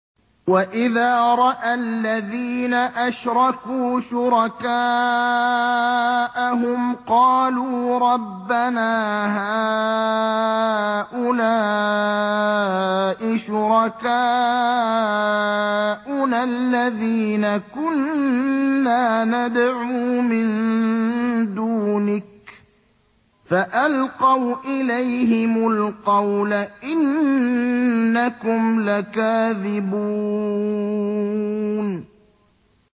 وَإِذَا رَأَى الَّذِينَ أَشْرَكُوا شُرَكَاءَهُمْ قَالُوا رَبَّنَا هَٰؤُلَاءِ شُرَكَاؤُنَا الَّذِينَ كُنَّا نَدْعُو مِن دُونِكَ ۖ فَأَلْقَوْا إِلَيْهِمُ الْقَوْلَ إِنَّكُمْ لَكَاذِبُونَ